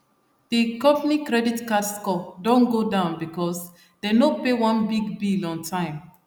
the company credit score don go down because dem no pay one big bill on time